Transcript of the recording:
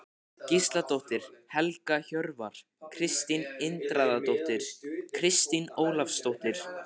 Gísladóttir, Helga Hjörvar, Kristín Indriðadóttir, Kristín Ólafsdóttir